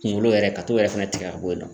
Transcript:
Kungolo yɛrɛ ka t'o yɛrɛ fɛnɛ tigɛ ka b'o la